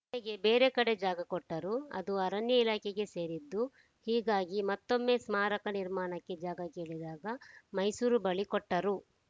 ಕೊನೆಗೆ ಬೇರೆ ಕಡೆ ಜಾಗ ಕೊಟ್ಟರು ಅದು ಅರಣ್ಯ ಇಲಾಖೆಗೆ ಸೇರಿದ್ದು ಹೀಗಾಗಿ ಮತ್ತೊಮ್ಮೆ ಸ್ಮಾರಕ ನಿರ್ಮಾಣಕ್ಕೆ ಜಾಗ ಕೇಳಿದಾಗ ಮೈಸೂರು ಬಳಿ ಕೊಟ್ಟರು